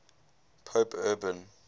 pope urban